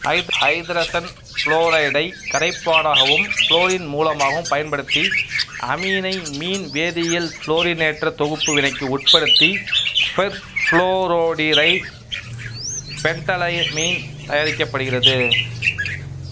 ஐதரசன் புளோரைடை கரைப்பானாகவும் புளோரின் மூலமாகவும் பயன்படுத்தி அமீனை மின்வேதியியல் புளோரினேற்ற தொகுப்பு வினைக்கு உட்படுத்தி பெர்புளோரோடிரைபென்டைலமீன் தயாரிக்கப்படுகிறது